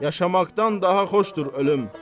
Yaşamaqdan daha xoşdur ölüm.